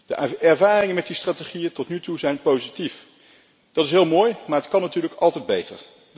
De ervaringen met die strategieën zijn tot nu toe positief. Dat is heel mooi, maar het kan natuurlijk altijd beter.